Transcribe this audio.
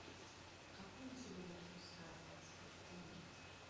какой на сегодня курс хорватской куны